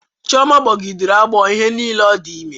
Chioma gbogidere agbọ ihe niile o di ime